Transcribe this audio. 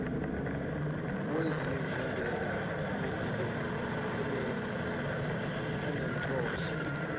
yezivimbela mililo enenhloso